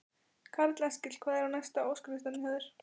Karl Eskil: Hvað er næst á óskalistanum hjá þér?